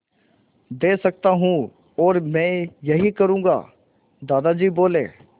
दे सकता हूँ और मैं यही करूँगा दादाजी बोले